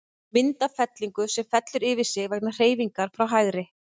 Mynd af fellingu, sem fellur yfir sig vegna hreyfingar frá hægri.